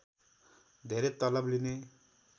धेरै तलब लिने